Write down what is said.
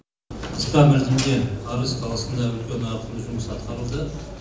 қысқа мерзімде арыс қаласында үлкен ауқымды жұмыс атқарылды